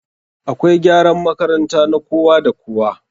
Akwai gyaran makaranta na kowa da kowa.